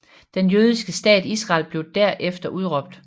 Den jødiske stat Israel blev der efter udråbt